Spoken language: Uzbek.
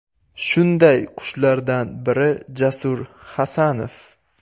Shunday qushlardan biri Jasur Hasanov .